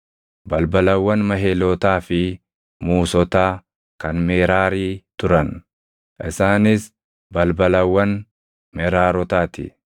Balbalawwan Mahelootaa fi Muusotaa kan Meraarii turan; isaanis balbalawwan Meraarotaa ti.